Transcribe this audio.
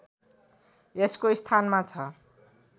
यसको स्थानमा छ